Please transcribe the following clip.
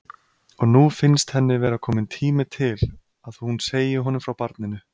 Og nú finnst henni vera kominn tími til að hún segi honum frá barninu.